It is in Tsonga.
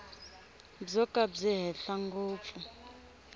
byo ka byi henhla ngopfu